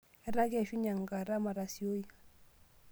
Etaa keishunye enkata matasioi.